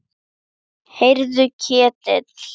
Heyrðu Ketill.